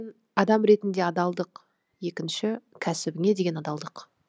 адам ретінде адалдық екінші кәсібіңе деген адалдық